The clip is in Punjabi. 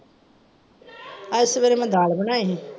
ਅੱਜ ਸਵੇਰੇ ਮੈਂ ਦਾਲ ਬਣਾਈ ਹੀ।